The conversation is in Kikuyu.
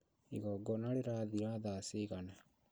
Igongona rĩrathira thaa cigana